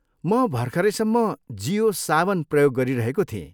म भर्खरैसम्म जियो सावन प्रयोग गरिरहेको थिएँ।